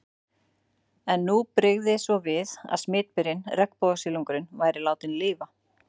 En nú brygði svo við að smitberinn, regnbogasilungurinn, væri látinn lifa.